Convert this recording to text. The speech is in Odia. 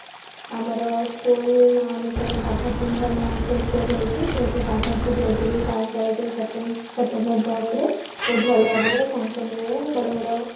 ଆମର school ନାଁ ଅନୁସାରେ ସେପ୍ଟେମ୍ବର ଦଶରେ ବହୁତ ଭଲ ଭାବରେ function ହୁଏ ବଡ ବଡ